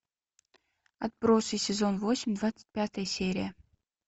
отбросы сезон восемь двадцать пятая серия